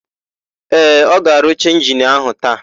Ee, ọ ga-arụcha injini áhụ̀ taa.